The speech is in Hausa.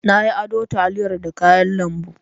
Na yi ado taliyar da kayan lambu.